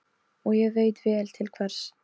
Og ég veit vel til hvers.